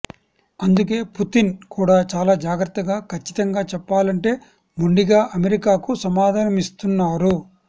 అందుకే పుతిన్ కూడా చాలా జాగ్రత్తగా ఖచ్చితంగా చెప్పాలంటే మొండిగా అమెరికాకు సమాధానమిస్తున్నారు